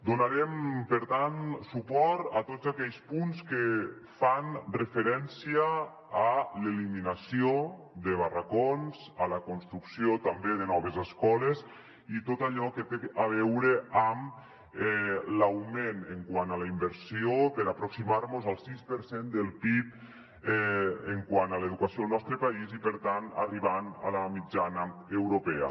donarem per tant suport a tots aquells punts que fan referència a l’elimina·ció de barracons a la construcció també de noves escoles i tot allò que té a veure amb l’augment quant a la inversió per aproximar·mos al sis per cent del pib quant a l’educació al nostre país i per tant arribant a la mitjana europea